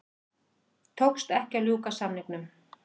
Tókst ekki að ljúka samningum